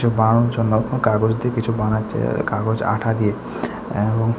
বানানোর জন্য কোনো কাগজ দিয়ে কিছু বানাচ্ছে আঃ কাগজ আঠা দিয়ে অ্যাবং --